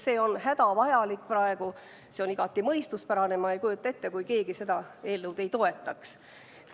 See on praegu hädavajalik, see on igati mõistuspärane ja ma ei kujuta ette, et keegi seda eelnõu ei toetaks.